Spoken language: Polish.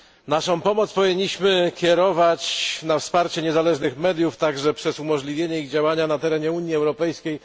Naszą pomoc powinniśmy kierować na wsparcie niezależnych mediów, także przez umożliwienie ich działania na terenie Unii Europejskiej.